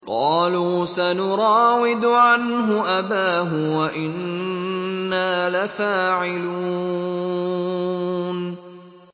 قَالُوا سَنُرَاوِدُ عَنْهُ أَبَاهُ وَإِنَّا لَفَاعِلُونَ